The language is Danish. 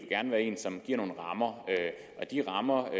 gerne være en som giver nogle rammer og de rammer